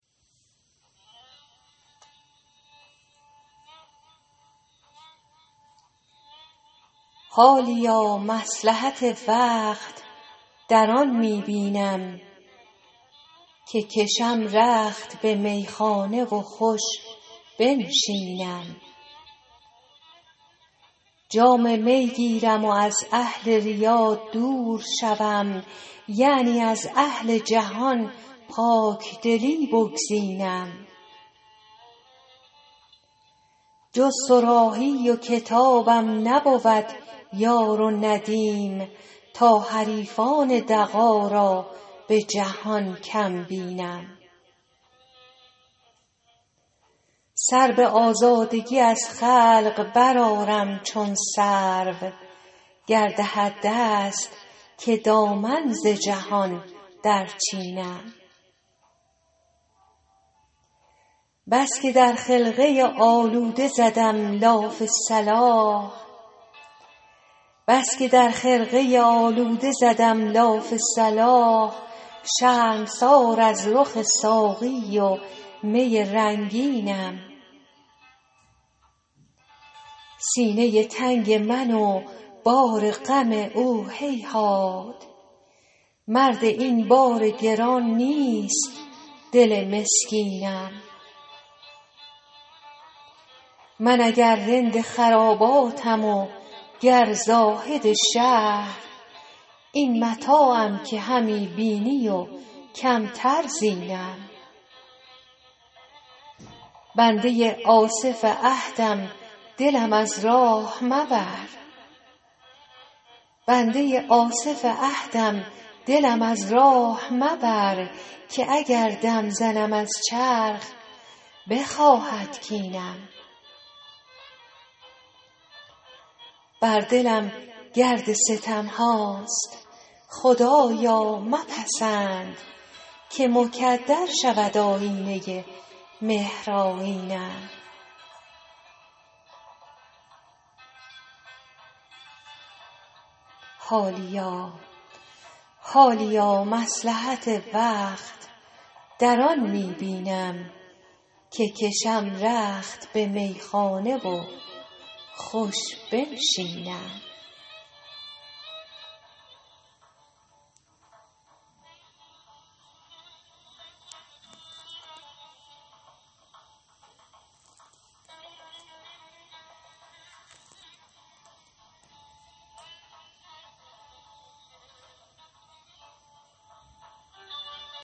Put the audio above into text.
حالیا مصلحت وقت در آن می بینم که کشم رخت به میخانه و خوش بنشینم جام می گیرم و از اهل ریا دور شوم یعنی از اهل جهان پاکدلی بگزینم جز صراحی و کتابم نبود یار و ندیم تا حریفان دغا را به جهان کم بینم سر به آزادگی از خلق برآرم چون سرو گر دهد دست که دامن ز جهان درچینم بس که در خرقه آلوده زدم لاف صلاح شرمسار از رخ ساقی و می رنگینم سینه تنگ من و بار غم او هیهات مرد این بار گران نیست دل مسکینم من اگر رند خراباتم و گر زاهد شهر این متاعم که همی بینی و کمتر زینم بنده آصف عهدم دلم از راه مبر که اگر دم زنم از چرخ بخواهد کینم بر دلم گرد ستم هاست خدایا مپسند که مکدر شود آیینه مهرآیینم